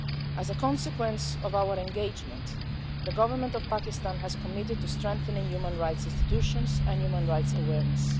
As a consequence of our engagement, the government of Pakistan has committed to strengthening human rights institutions and human rights awareness.